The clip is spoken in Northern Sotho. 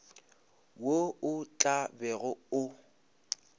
wo o tla bego o